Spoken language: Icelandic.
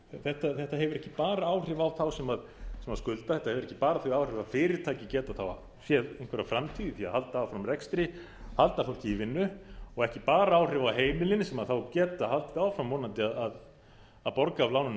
þetta hefur ekki bara áhrif á þá sem skulda þetta hefur ekki bara þau áhrif að fyrirtæki geti þá séð einhverja framtíð með því að halda áfram rekstri halda fólki í vinnu og ekki bara áhrif á heimilin sem þá geta haldið áfram vonandi að borga af lánunum